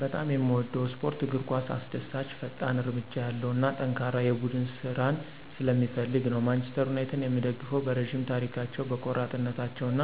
በጣም የምወደው ስፖርት እግር ኳስ አስደሳች፣ ፈጣን እርምጃ ያለው እና ጠንካራ የቡድን ስራን ስለሚፈልግ ነው። ማንቸስተር ዩናይትድን የምደግፈው በረዥም ታሪካቸው፣ በቆራጥነታቸው እና